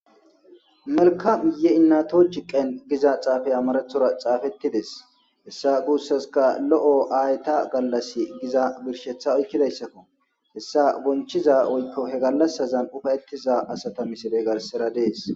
Melkamye innato chi qen giza xaafaya marathora xaafettides hessa guussaska lo'o aayta gallas giza birshetha oykkidayssakko hessa bonchiza oykko he gallasazan ufayettiza asata misile garsera dees.